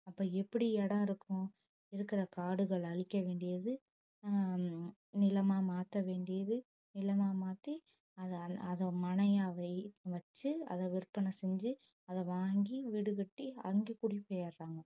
அப்போ எப்படி இடம் இருக்கும் இருக்கிற காடுகளை அழிக்க வேண்டியது உம் நிலமா மாத்த வேண்டியது நிலமா மாத்தி அத~ அதை மனையாவே வச்சு அதை விற்பனை செஞ்சு அதை வாங்கி வீடு கட்டி அங்க குடி போயிடறாங்க